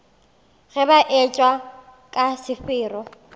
ge ba etšwa ka sefero